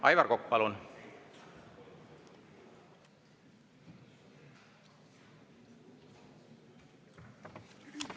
Aivar Kokk, palun!